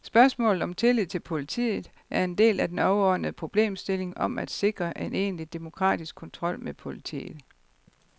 Spørgsmålet om tilliden til politiet er en del af den overordnede problemstilling om at sikre en egentlig demokratisk kontrol med politiet.